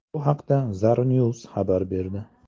Bu haqda Zarnews xabar berdi .